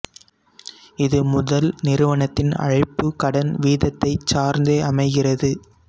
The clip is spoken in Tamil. இது முதல் நிறுவனத்தின் அழைப்பு கடன் வீதத்தைச் சார்ந்தே அமைகிறது